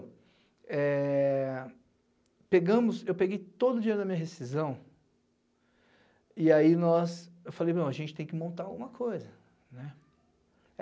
É... Pegamos, eu peguei todo o dinheiro da minha rescisão e aí nós eu falei, meu, a gente tem que montar alguma coisa, né.